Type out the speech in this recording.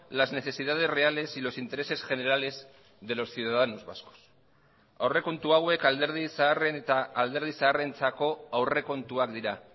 las necesidades reales y los intereses generales de los ciudadanos vascos aurrekontu hauek alderdi zaharren eta alderdi zaharrentzako aurrekontuak dira